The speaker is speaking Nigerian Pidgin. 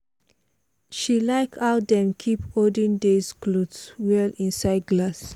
she like how dem keep olden days clothes well inside glass.